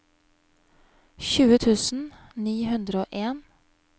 tjue tusen ni hundre og en